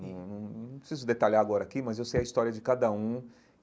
Não não não preciso detalhar agora aqui, mas eu sei a história de cada um.